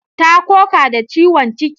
Ta koka da ciwon ciki.